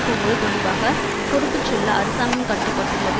போவது தொடர்பாக பொறுப்புச் சொல்ல அரசாங்கம் கட்டுப்பட்டுள்ளது